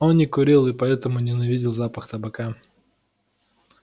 он не курил и поэтому ненавидел запах табака